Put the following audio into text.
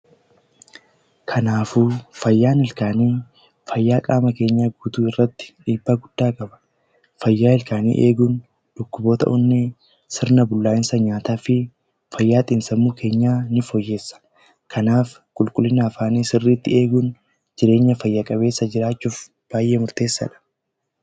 Fayyaan ilkaanii fayyaa qaama keenya guutuu irratti dhiibbaa guddaa qaba. Fayyaa ilkaanii eeguun sirna bullaa'insa nyaataa keenya eeguudha. kanaafuu qulqullina afaan keenyaa eeguun fayyaan jiraachuuf baay'ee barbaachisaadha.